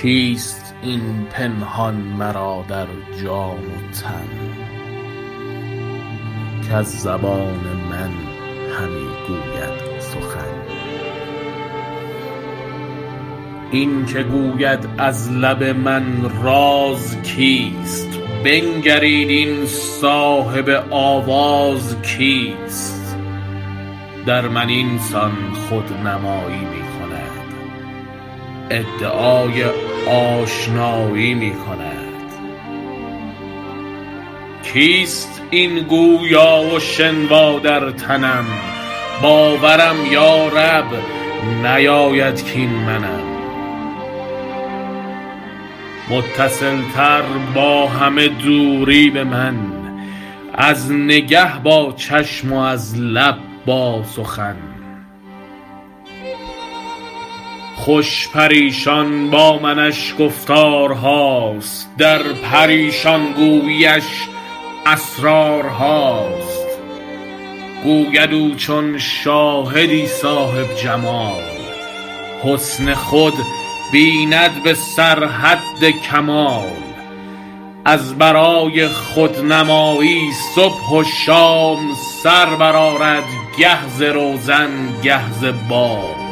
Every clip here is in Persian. در بیان اینکه صاحب جمال را خودنمایی موافق حکمت شرط ست و اشاره به تجلی اول بر وجه اتم و اکمل و پوشیدن اعیان ثابته کسوت تعین را و طلوع عشق از مطلع لاهوتی و تجلی به عالم ملکوتی و ناسوتی- نعم ماقال در ازل پرتو حسنت ز تجلی دم زد عشق پیدا شد و آتش به همه عالم زد حافظ بر مصداق حدیث کنت کنزا مخفیا فأحببت ان اعرف بر مذاق اهل توحید گوید کیست این پنهان مرا در جان و تن کز زبان من همی گوید سخن این که گوید از لب من راز کیست بنگرید این صاحب آواز کیست در من این سان خودنمایی می کند ادعای آشنایی می کند کیست این گویا و شنوا در تنم باورم یارب نیاید کاین منم متصل تر با همه دوری به من از نگه با چشم و از لب با سخن خوش پریشان با منش گفتارهاست در پریشان گویی اش اسرارهاست گوید او چون شاهدی صاحب جمال حسن خود بیند به سر حد کمال از برای خودنمایی صبح و شام سر برآرد گه ز روزن گه ز بام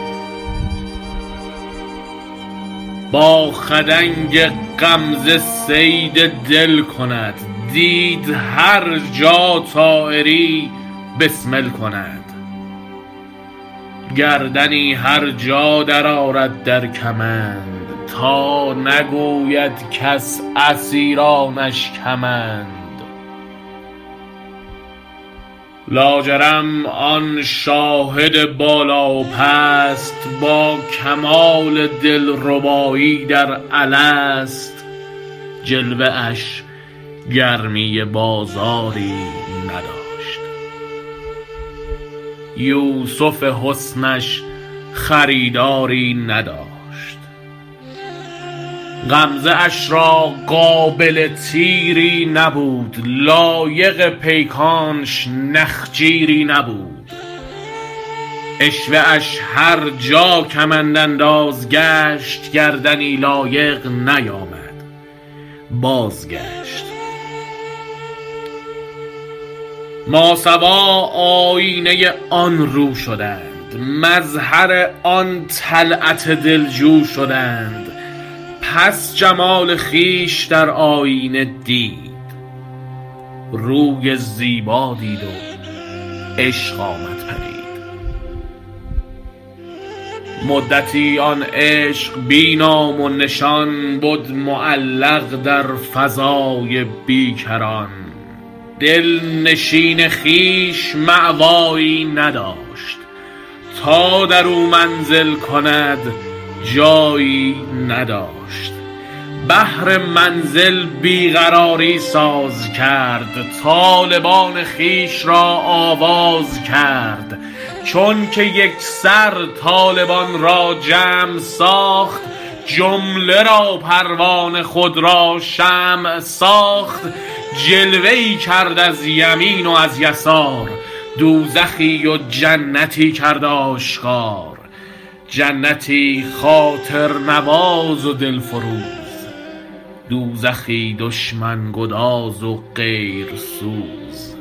با خدنگ غمزه صید دل کند دید هر جا طایری بسمل کند گردنی هر جا در آرد در کمند تا نگوید کس اسیرانش کمند لاجرم آن شاهد بالا و پست با کمال دلربایی در الست جلوه اش گرمی بازاری نداشت یوسف حسن اش خریداری نداشت غمزه اش را قابل تیری نبود لایق پیکانش نخجیری نبود عشوه اش هرجا کمندانداز گشت گردنی لایق نیامد بازگشت ماسوی آیینه آن رو شدند مظهر آن طلعت دلجو شدند پس جمال خویش در آیینه دید روی زیبا دید و عشق آمد پدید مدتی آن عشق بی نام و نشان بد معلق در فضای بیکران دلنشین خویش مأوایی نداشت تا درو منزل کند جایی نداشت بهر منزل بی قراری ساز کرد طالبان خویش را آواز کرد چون که یکسر طالبان را جمع ساخت جمله را پروانه خود را شمع ساخت جلوه ای کرد از یمین و از یسار دوزخی و جنتی کرد آشکار جنتی خاطرنواز و دل فروز دوزخی دشمن گداز و غیرسوز